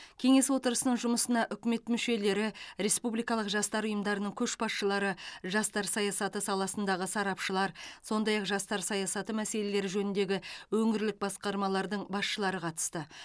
кеңес отырысының жұмысына үкімет мүшелері республикалық жастар ұйымдарының көшбасшылары жастар саясаты саласындағы сарапшылар сондай ақ жастар саясаты мәселелері жөніндегі өңірлік басқармалардың басшылары қатысты